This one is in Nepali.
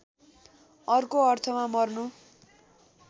अर्को अर्थमा मर्नु